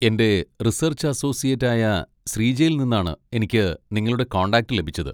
എന്റെ research associate ആയ ശ്രീജയിൽ നിന്നാണ് എനിക്ക് നിങ്ങളുടെ കോൺടാക്റ്റ് ലഭിച്ചത്.